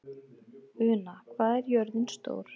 Una, hvað er jörðin stór?